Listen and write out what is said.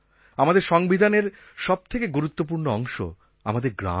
আমাদের সংবিধানের সব থেকে গুরুত্বপূর্ণ অংশ আমাদের গ্রাম